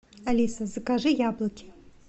алиса закажи яблоки